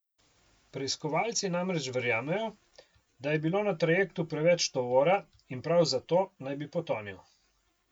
Preiskovalci namreč verjamejo, da je bilo na trajektu preveč tovora in prav zato naj bi potonil.